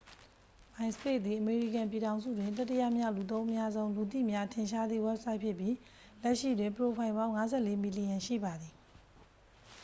myspace သည် အမေရိကန်ပြည်ထောင်စုတွင် တတိယမြောက် လူသုံးအများဆုံး လူသိများထင်ရှားသည့်ဝဘ်ဆိုက်ဖြစ်ပြီး လက်ရှိတွင် ပရိုဖိုင်ပေါင်း 54 မီလီယံရှိပါသည်